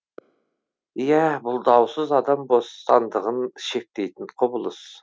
иә бұл даусыз адам бостандығын шектейтін құбылыс